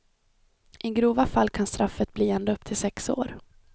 I grova fall kan straffet bli ända upp till sex år.